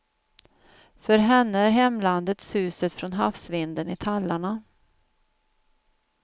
För henne är hemlandet suset från havsvinden i tallarna.